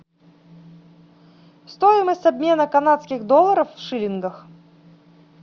стоимость обмена канадских долларов в шиллингах